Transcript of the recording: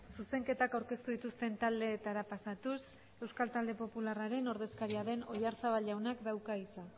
zuzenketak aurkeztu dituzten taldeetara pasatuz euskal talde popularraren ordezkaria den oyarzabal jaunak dauka hitza